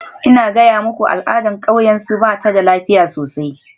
Ina gaya muku al'adar kauyensu, ba ta da lafiya sosai.